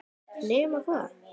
Nema hvað?